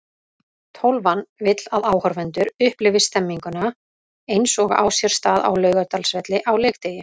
Tólfan vill að áhorfendur upplifi stemningu eins og á sér stað á Laugardalsvelli á leikdegi.